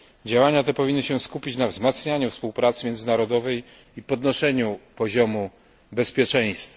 Działania te powinny się skupić na wzmacnianiu współpracy międzynarodowej i podnoszeniu poziomu bezpieczeństwa.